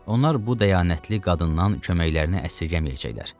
Onlar bu dəyanətli qadından köməklərini əsirgəməyəcəklər.